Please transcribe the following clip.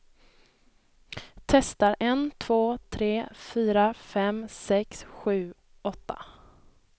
Testar en två tre fyra fem sex sju åtta.